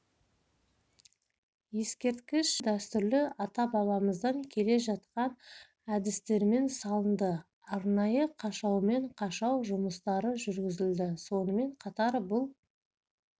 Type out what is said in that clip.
ескерткіш біздің дәстүрлі ата-бабамыздан келе жатқан әдістермен салынды арнайы қашаумен қашау жұмыстары жүргізілді сонымен қатар бұл